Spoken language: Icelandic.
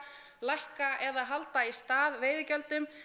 lækka eða halda í stað veiðigjöldum